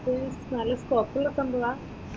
ഉം നല്ല സ്കോപ്പുള്ള സംഭവമാ?